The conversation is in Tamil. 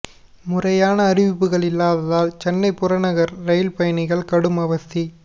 முறையான அறிவிப்புகள் இல்லாததால் சென்னை புறநகர் ரயில் பயணிகள் கடும் அவதி